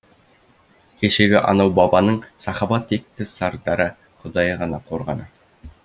кешегі анау бабаның сахаба текті сардары құдайы ғана қорғаны